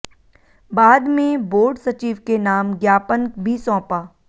बाद में बोर्ड सचिव के नाम ज्ञापन भी सौंपा